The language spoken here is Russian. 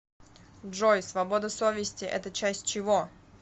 джой свобода совести это часть чего